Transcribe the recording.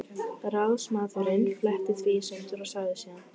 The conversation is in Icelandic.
Ráðsmaðurinn fletti því í sundur og sagði síðan